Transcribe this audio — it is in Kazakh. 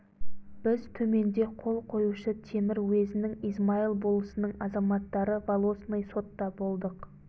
біз төменде қол қоюшы темір уезінің измаил болысының азаматтары волосной сотта болдық